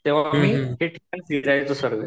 तेव्हा सगळे